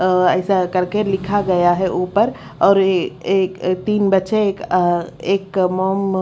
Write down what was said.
अ ऐसा करके लिखा गया है ऊपर और एक एक तीन बच्चे एक एक मोम--